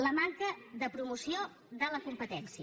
la manca de promoció de la competència